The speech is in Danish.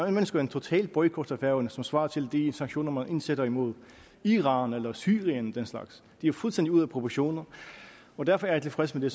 ønsker en total boykot af færøerne som svarer til de sanktioner man indsætter mod iran eller syrien og den slags det er fuldstændig ude af proportioner og derfor er jeg tilfreds med